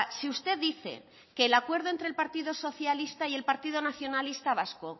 si usted dice que el acuerdo entre el partido socialista y el partido nacionalista vasco